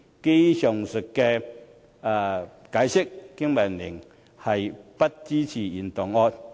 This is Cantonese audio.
基於上述解釋，經民聯不支持原議案。